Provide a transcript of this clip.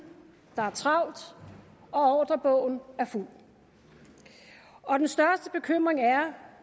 der er travlt ordrebogen er fuld og den største bekymring er